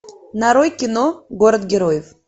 нарой кино город героев